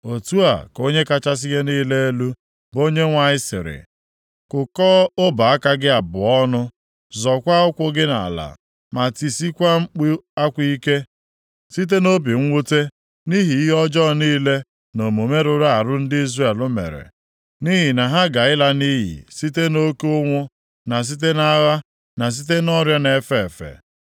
“ ‘Otu a ka Onye kachasị ihe niile elu, bụ Onyenwe anyị sịrị, kụkọọ ọbọ aka gị abụọ ọnụ, zọkwaa ụkwụ gị nʼala, ma tisikwaa mkpu akwa ike site nʼobi mwute, nʼihi ihe ọjọọ niile na omume rụrụ arụ ndị Izrel mere. Nʼihi na ha ga ịla nʼiyi site nʼoke ụnwụ, na site nʼagha, na site nʼọrịa na-efe efe.